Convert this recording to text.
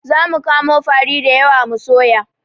Zamu kamo fari dayawa mu soya